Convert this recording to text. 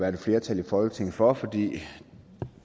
et flertal i folketinget for at gøre fordi